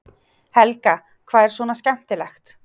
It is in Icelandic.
Helga: Hvað er svona skemmtilegt?